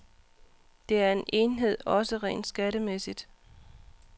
Det er en enhed, også rent skattemæssigt.